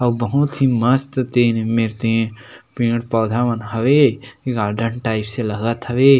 और बहुत ही मस्त तेन में तेन पेड़- पौधा मन हवे गार्डन टाइप्स से लागत हवे।